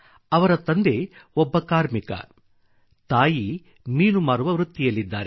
ಅವರ ತಂದೆ ಒಬ್ಬ ಕಾರ್ಮಿಕ ತಾಯಿ ಮೀನು ಮಾರುವ ವೃತ್ತಿಯಲ್ಲಿದ್ದಾರೆ